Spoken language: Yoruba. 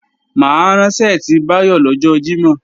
Mà á rán ṣẹ́ẹ̀tì Báyọ̀ lọ́jọ́ Jímọ̀